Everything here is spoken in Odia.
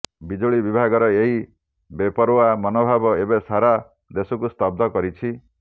ବିଜୁଳି ବିଭାଗର ଏହି ବେପରୱା ମନୋଭାବ ଏବେ ସାରା ଦେଶକୁ ସ୍ତବ୍ଧ କରିଛି